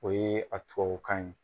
O ye a tubabukan ye.